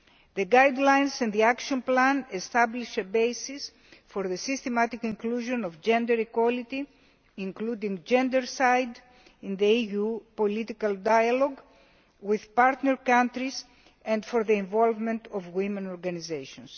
The guidelines of the Plan of Action establish a basis for the systematic inclusion of gender equality, for including gendercide in the EU political dialogue with partner countries, and for the involvement of women's organisations.